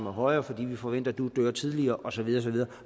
er højere fordi vi forventer at du dør tidligere og så videre